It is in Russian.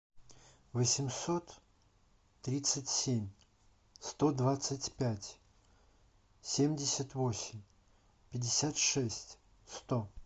восемьсот тридцать семь сто двадцать пять семьдесят восемь пятьдесят шесть сто